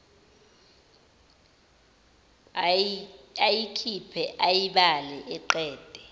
ayikhiphe ayibale aqede